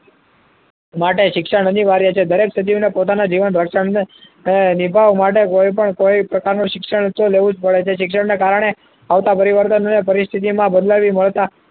માટે શિક્ષણ અનિવાર્ય છે દરેક સજીવને પોતાની જીવન રક્ષણ નિભાવવા માટે કોઈપણ કોઈ પ્રકારનું શિક્ષણ લેવું જ પડે છે માટે શિક્ષણના કારણે આવતા પરિવર્તનને પરિસ્થિતિમાં બદલાવી મળતા